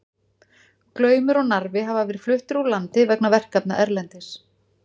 Glaumur og Narfi hafa verið fluttir úr landi vegna verkefna erlendis.